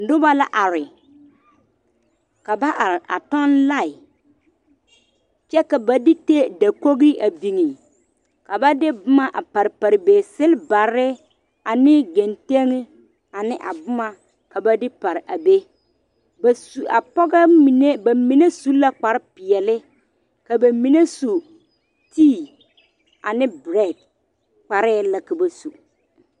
Noba la are ka ba are a tɔŋ lae kyɛ ka ba de ta dakogi a biŋ ka ba de boma a pare pare be selbare ane genteŋe ane a boma ka ba pare a be ba su a pɔgɔ mine ba mine su la kpar peɛle ka ba mine su tii ane berɛɛ kparɛɛ la ka ba su